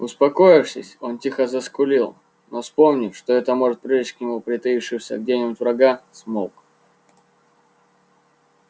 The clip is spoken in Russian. успокоившись он тихо заскулил но вспомнив что это может привлечь к нему притаившегося где нибудь врага смолк